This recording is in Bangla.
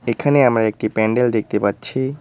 এখানে আমরা একটি প্যান্ডেল দেখতে পাচ্ছি।